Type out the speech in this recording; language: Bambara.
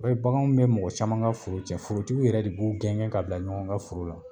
I b'a ye baganw be mɔgɔ caman ka foro cɛn forotigiw yɛrɛ de b'u gɛngɛ ka bila ɲɔgɔn ka foro la